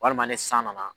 Walima ni san nana